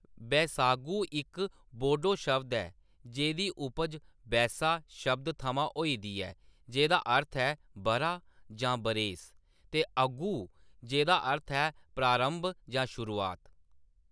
बैसागु इक बोड़ो शब्द ऐ जेह्‌दी उपज "बैसा" शब्द थमां होई दी ऐ जेह्‌दा अर्थ ऐ बʼरा जां बरेस, ते "अगु" जेह्‌दा अर्थ ऐ प्रारंभ जां शुरुआत।